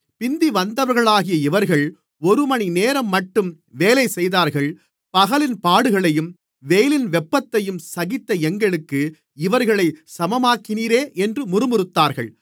பிந்திவந்தவர்களாகிய இவர்கள் ஒருமணிநேரம்மட்டும் வேலைசெய்தார்கள் பகலின் பாடுகளையும் வெயிலின் வெப்பத்தையும் சகித்த எங்களுக்கு இவர்களைச் சமமாக்கினீரே என்று முறுமுறுத்தார்கள்